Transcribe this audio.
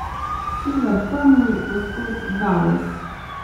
Sever pomni, gospod Davos.